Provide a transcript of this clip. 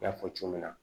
N y'a fɔ cogo min na